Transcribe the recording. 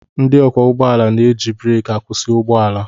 Ndị ọkwọ ụgbọala na-eji breki akwụsị ụgbọ ala